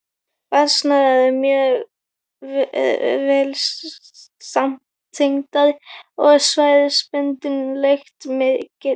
Vatnsæðar eru vel samtengdar og svæðisbundin lekt mikil.